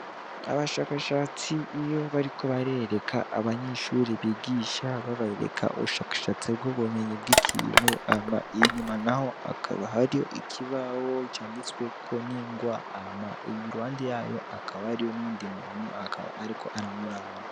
Abashakashatsi iyo bariko barereka abanyeshure bigisha babereka ubushakashatsi bw'ubumenyi bw'ikintu hama inyuma naho hakaba hariho ikibaho canditsweko n'ingwa, hama iruhande yayo hakaba hariyo n'uyundi muntu, akaba ariko aramuraba.